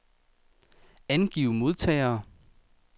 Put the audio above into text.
Angiv modtagere.